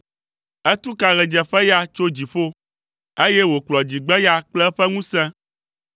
Etu ka ɣedzeƒeya tso dziƒo, eye wòkplɔ dzigbeya kple eƒe ŋusẽ.